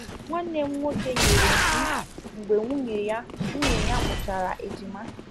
Nwanne m nwoke nyere mkpi mgbe nwunye ya nwunye ya mụchara ejima